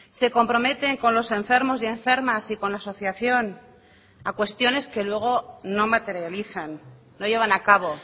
se comprometen con los enfermos y enfermas y con la asociación a cuestiones que luego no materializan no llevan a cabo